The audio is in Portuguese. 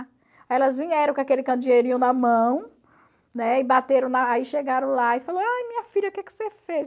Aí elas vieram com aquele na mão, né, e bateram na... Aí chegaram lá e ai, minha filha, o que que você fez?